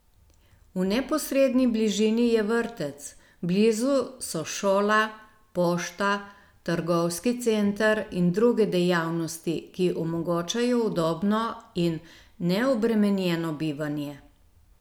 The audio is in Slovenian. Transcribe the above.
V neposredni bližini je vrtec, blizu so šola, pošta, trgovski center in druge dejavnosti, ki omogočajo udobno in neobremenjeno bivanje.